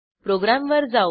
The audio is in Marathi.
प्रोग्रॅमवर जाऊ